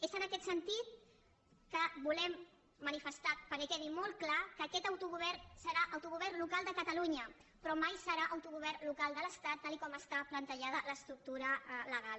és en aquest sentit que volem manifestar perquè quedi molt clar que aquest autogovern serà autogovern local de catalunya però mai serà autogovern local de l’estat tal com està plantejada l’estructura legal